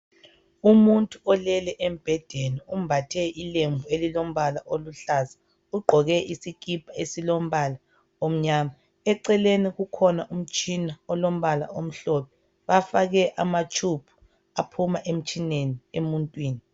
Umuntu olele embhedeni. Umbathe ilembu elilombala oluhlaza. Ugqoke isikipha esilombala omnyama. Eceleni kulomtshina olombala omhlophe. Bafake amatshubhu aphuma emtshineni emuntwini.